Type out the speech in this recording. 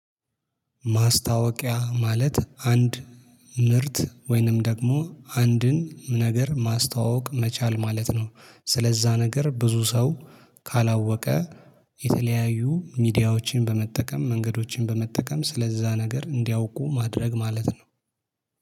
ማስታወቂያ ማለት አንድ ምርት ወይንም ደግሞ አንድን ነገር ማስተዋወቅ መቻል ማለት ነው። ስለዛ ነገር ብዙ ሰው ካላወቀ የተለያዩ ሚዲያዎችን በመጠቀም መንገዶችን በመጠቀም ስለዛ ነገር እንዲያውቁ ማድረግ ማለት ነው